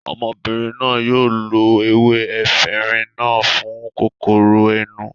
Obìnrin náà yóò lo ewé efinrin náà fún kòkòrò ẹnu